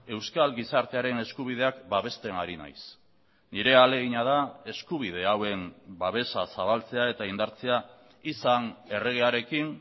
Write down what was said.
euskal gizartearen eskubideak babesten ari naiz nire ahalegina da eskubide hauen babesa zabaltzea eta indartzea izan erregearekin